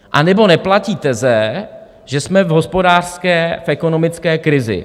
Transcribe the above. Anebo neplatí teze, že jsme v hospodářské, v ekonomické krizi.